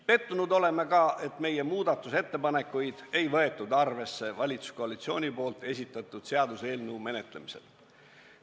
Pettunud oleme ka, et meie muudatusettepanekuid ei võetud arvesse valitsuskoalitsiooni esitatud seaduseelnõu menetlemisel.